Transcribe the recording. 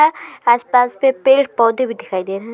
आ आस पास पे पेड़ पौधे भी दिखाई दे रहे हैं।